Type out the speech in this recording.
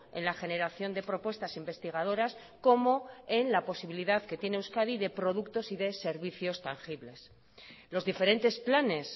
en la generación de propuestas investigadoras como en la posibilidad que tiene euskadi de productos y de servicios tangibles los diferentes planes